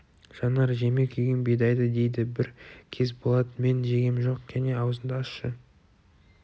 жанар жеме күйген бидайды дейді бір кез болат мен жегем жоқ кәне аузыңды ашшы